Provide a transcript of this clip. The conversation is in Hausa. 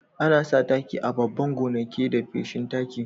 Ana sa taki a babban gonake da feshin taki.